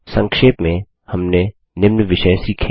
संक्षेप में हमने निम्न विषय सीखे